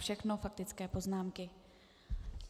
Všechno faktické poznámky.